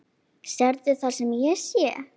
Sérðu það sem ég sé?